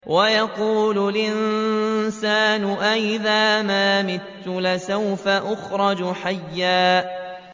وَيَقُولُ الْإِنسَانُ أَإِذَا مَا مِتُّ لَسَوْفَ أُخْرَجُ حَيًّا